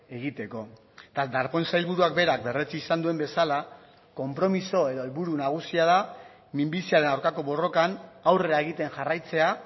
egiteko eta darpón sailburuak berak berretsi izan duen bezala konpromiso edo helburu nagusia da minbiziaren aurkako borrokan aurrera egiten jarraitzea